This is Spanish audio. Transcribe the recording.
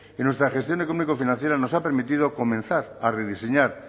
y nuestra gestión económico financiera nos ha permitido comenzar a rediseñar